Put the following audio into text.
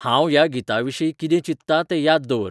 हांव ह्या गीताविशीं कितें चित्तां तें याद दवर